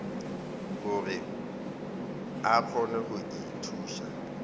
gore a kgone go ithuša